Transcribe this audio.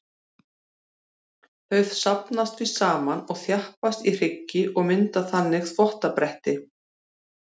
Þau safnast því saman og þjappast í hryggi og mynda þannig þvottabretti.